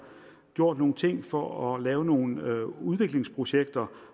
gjort nogle ting for at lave nogle udviklingsprojekter